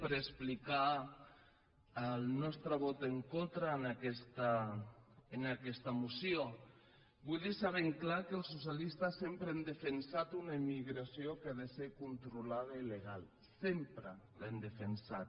per explicar el nostre vot en contra en aquesta moció vull deixar ben clar que els socialistes sempre hem defensat una immigració que ha de ser controlada i legal sempre l’hem defensada